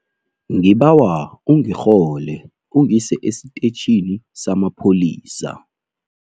Ngibawa ungirhole ungise esitetjhini samapholisa.